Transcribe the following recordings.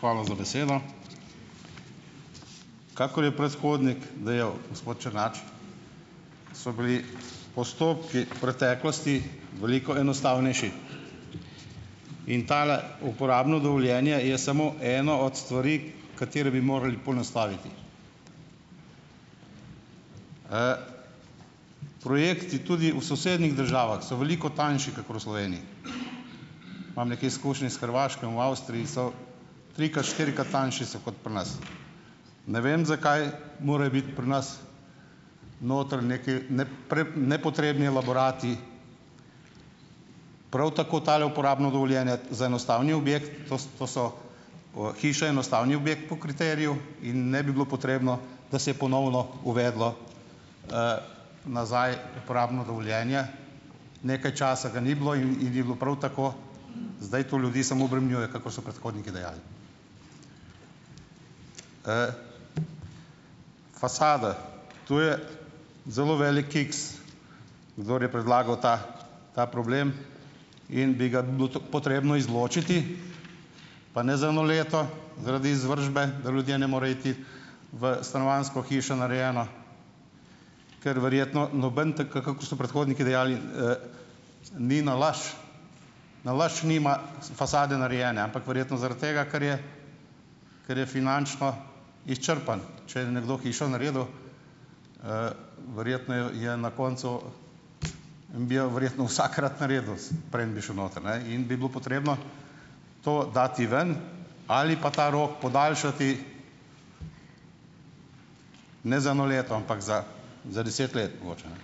Hvala za besedo! Kakor je predhodnik dejal, gospod Černač, so bili postopki v preteklosti veliko enostavnejši in tole uporabno dovoljenje je samo ena od stvari, katere bi morali poenostaviti. Projekti tudi v sosednjih državah so veliko tanjši kakor v Sloveniji. Imam neke izkušnje s Hrvaško, v Avstriji so trikrat, štirikrat tanjši so, kot pri nas. Ne vem, zakaj morajo biti pri nas noter nekaj nepotrebni elaborati, prav tako tole uporabno dovoljenje za enostavni objekt, to to so, hiše, enostavni objekt po kriteriju, in ne bi bilo potrebno, da se je ponovno uvedlo, nazaj uporabno dovoljenje. Nekaj časa ga ni bilo in in je bilo prav tako, zdaj to ljudi samo obremenjuje, kakor so predhodniki dejali. Fasada, to je zelo velik "kiks", kdor je predlagal ta ta problem, in bi ga bilo potrebno izločiti, pa ne za eno leto, zaradi izvršbe, da ljudje ne morejo iti v stanovanjsko hišo narejeno, ker verjetno noben, tako kakor so predhodniki dejali, ni nalašč, nalašč nima fasade narejene, ampak verjetno zaradi tega, ker je ker je finančno izčrpan. Če je nekdo hišo naredil, verjetno jo je na koncu, bi jo verjetno vsak rad naredil, preden bi šel noter, ne in bi bilo potrebno to dati ven ali pa ta rok podaljšati, ne za eno leto, ampak za za deset let mogoče, ne.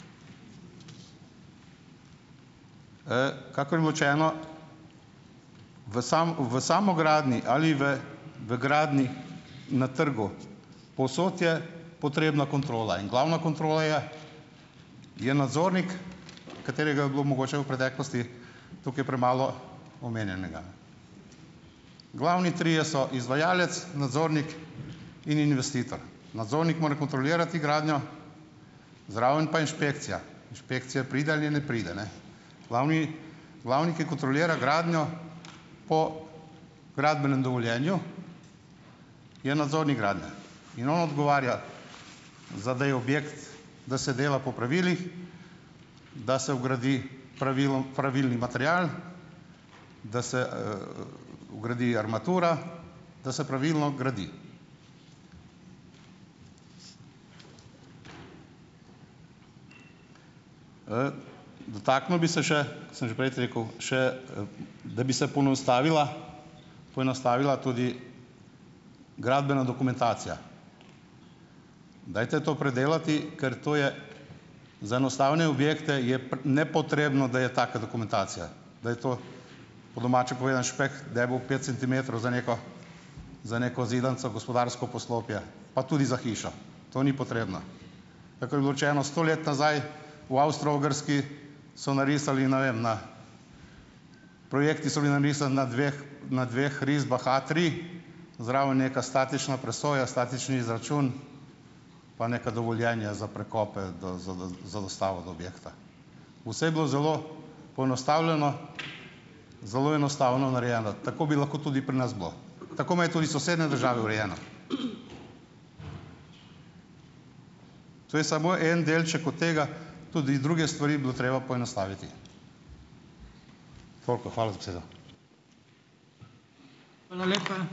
kakor je bilo rečeno, v v samogradnji ali v v gradnji na trgu, povsod je potrebna kontrola in glavna kontrola je je nadzornik, katerega je bilo mogoče v preteklosti tukaj premalo omenjenega. Glavni trije so izvajalec, nadzornik in investitor. Nadzornik mora kontrolirati gradnjo, zraven pa inšpekcija. Inšpekcija pride ali ne pride, ne. Glavni, glavni, ki kontrolira gradnjo po gradbenem dovoljenju, je nadzornik gradnje in on odgovarja za, da je objekt, da se dela po pravilih, da se vgradi pravilen pravilni material, da se, vgradi armatura, da se pravilno gradi. Dotaknil bi se še, sem že prej to rekel še, da bi se poenostavila poenostavila tudi gradbena dokumentacija. Dajte to predelati, ker to je, za enostavne objekte je nepotrebno, da je taka dokumentacija, da je to, po domače povedano "špeh", debel pet centimetrov za neko za neko zidanico, gospodarsko poslopje pa tudi za hišo. To ni potrebno. Tako je bilo rečeno sto let nazaj, v Avstro-Ogrski so narisali ne vem na, projekti so bili narisani na dveh na dveh risbah A tri, zraven neka statična presoja, statični izračun pa neka dovoljenja za prekope, da za za dostavo do objekta. Vse je bilo zelo poenostavljeno. Zelo enostavno narejeno. Tako bi lahko tudi pri nas bilo. Tako imajo tudi sosednje države urejeno. To je samo en delček od tega, tudi druge stvari bi bilo treba poenostaviti. Toliko, hvala za besedo.